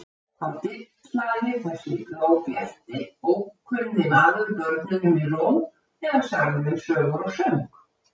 Þá dillaði þessi glóbjarti, ókunni maður börnunum í ró eða sagði þeim sögur og söng.